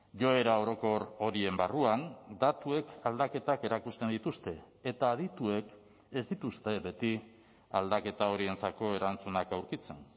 joera orokor horien barruan datuek aldaketak erakusten dituzte eta adituek ez dituzte beti aldaketa horientzako erantzunak aurkitzen